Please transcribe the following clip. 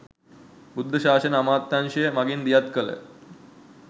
බුද්ධ ශාසන අමාත්‍යංශය මඟින් දියත් කළ